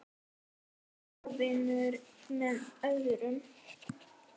Hvað vinnur með öðru.